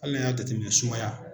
Hali n'a y'a jateminɛ sumaya